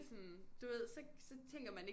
Sådan du ved så så tænker man ikke